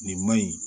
Nin man ɲi